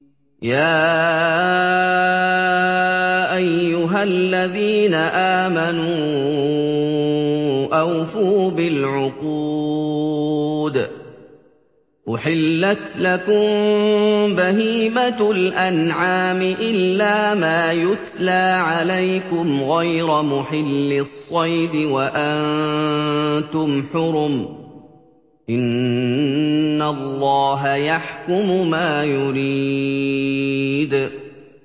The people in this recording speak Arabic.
يَا أَيُّهَا الَّذِينَ آمَنُوا أَوْفُوا بِالْعُقُودِ ۚ أُحِلَّتْ لَكُم بَهِيمَةُ الْأَنْعَامِ إِلَّا مَا يُتْلَىٰ عَلَيْكُمْ غَيْرَ مُحِلِّي الصَّيْدِ وَأَنتُمْ حُرُمٌ ۗ إِنَّ اللَّهَ يَحْكُمُ مَا يُرِيدُ